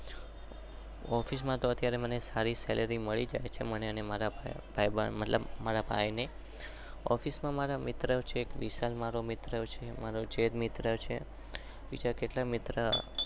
Office માં તો મને સારી સેલ્લેર્ય મળે છે.